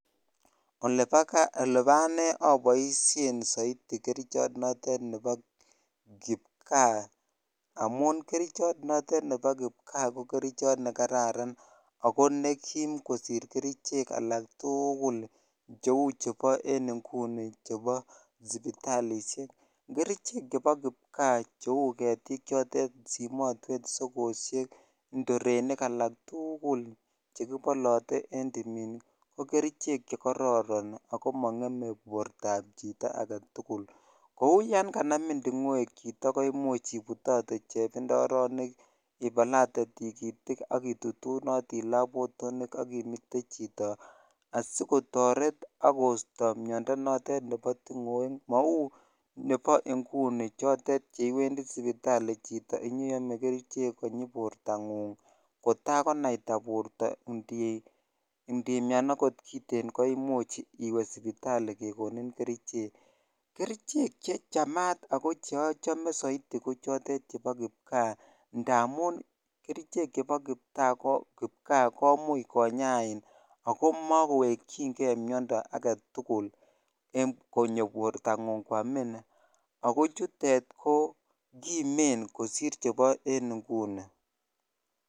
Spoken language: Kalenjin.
Olebo anee oboishen soiti kerichot notet nebo kipkaa amun kerichot notet nebo kipkaa ko kerichot nekararan ak ko nekiim kosir kerichek alak tukul cheu chebo en ng'uni chebo sipitalishek, kerichek chebo kipkaa cheu ketik chotet simotwet, sokoshek, ndorenik alak tukul chekibolote en timin ko kerichek chekororon ak ko mong'eme bortab chito aketukul, kouu yoon kanmin ting'oek chito ko imuch ibutote chebindoronik ibalate tikitik ak itutunoti labotonik ak imite chito asikotoret ak kosto miondo notet nebo ting'oek mauu nebo ing'uni chotet cheiwendi sipitali chito inyoiome kerichek konyi bortang'ung kotakonaita borto ndimian okot kiten koimuch iwee sipitali kekonin kerichek, kerichek chechamat ak ko cheochome ko soiti ko chotet chebo kipkaa ndamun kerichek chebo kipkaa komuch konyain ak ko mokowekying'e miondo aketukul konyo bortang'ung kwamin ak ko chutet ko kimen kosir chebo en ng'uni.